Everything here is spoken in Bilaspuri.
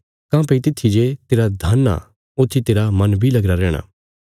काँह्भई तित्थीजे तेरा धन आ ऊत्थी तेरा मन बी लगीरा रैहणा